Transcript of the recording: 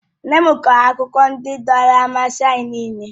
Nne m kọọrọ akụkọ ndị dọọrọ mmasị anyị nịịle.